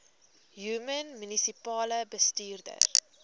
human munisipale bestuurder